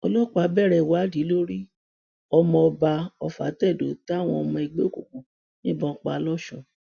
ọlọpàá bẹrẹ ìwádìí lórí ọmọ ọba ofatedo táwọn ọmọ ẹgbẹ òkùnkùn yìnbọn pa lọsùn